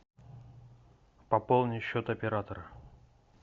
пополни счет оператора